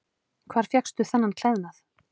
Hvar fékkstu þennan klæðnað?